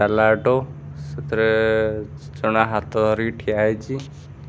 ଡାଲା ଅଟୋ ସେଥିରେ ଜଣେ ହାତ ଧରିକି ଠିଆ ହେଇଚି।